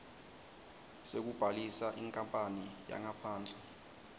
sekubhalisa inkapani yangaphandle